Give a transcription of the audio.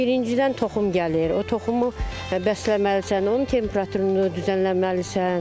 Birincidən toxum gəlir, o toxumu bəsləməlisən, onun temperaturunu düzənləməlisən.